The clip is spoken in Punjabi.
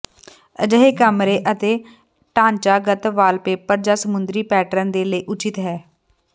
ਅਜਿਹੇ ਕਮਰੇ ਅਤੇ ਢਾਂਚਾਗਤ ਵਾਲਪੇਪਰ ਜਾਂ ਸਮੁੰਦਰੀ ਪੈਟਰਨ ਦੇ ਲਈ ਉਚਿਤ ਹੈ